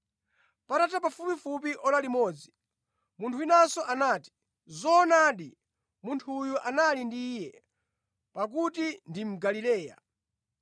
Patatha pafupifupi ora limodzi, munthu winanso anati, “Zoonadi, munthu uyu anali ndi Iye, pakuti ndi mu Galileya.”